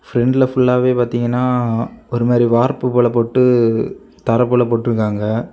பிரெண்ட்ல ஃபுல்லாவே பார்த்தீங்கன்னா ஒரு மாறி வார்ப்பு போல போட்டு தர போல போட்டு இருக்காங்க.